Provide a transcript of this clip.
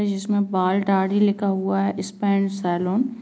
जिसमें बाल दाढ़ी लिखा हुआ है स्पा एंड सैलोन ।